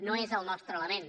no és el nostre element